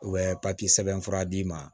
U bɛ papiye sɛbɛnfura d'i ma